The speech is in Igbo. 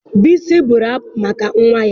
Bisi bụrụ abụ maka nwa ya.